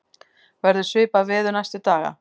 verður svipað veður næstu daga